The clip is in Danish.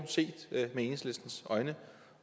set med enhedslistens øjne